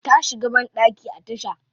Ta shiga bandaki a tasha.